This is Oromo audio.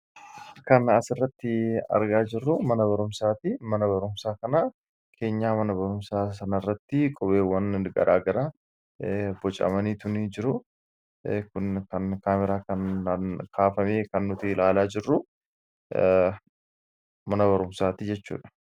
Kan as irratti argaa jirru mana barumsaati. Mana barumsaa kana keenyaa mana barumsaa sana irratti qubeewwan garaa gara bocaamanii jiran kun kan kaameeraa kaafame kan nuti ilaalaa jirru mana barumsaati jechuudha.